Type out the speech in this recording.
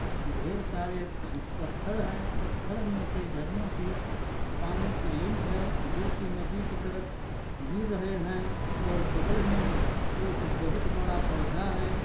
ढेरसारे उहह पत्थर है पत्थर मे से झरनो की पानी की लिंक है जो की नदी के तरफ गिर रहे है और बगल मे एक बहुत बड़ा पौधा है।